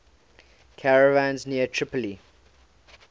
caravans near tripoli